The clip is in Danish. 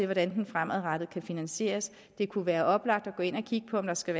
hvordan den fremadrettet kan finansieres det kunne være oplagt at gå ind at kigge på om der skal